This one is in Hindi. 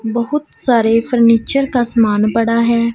बहुत सारे फर्नीचर का सामान पड़ा है।